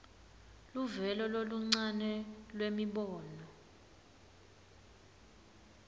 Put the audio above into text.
luvelo loluncane lwemibono